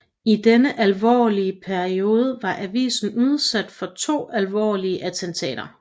I denne periode var avisen udsat for to alvorlige attentater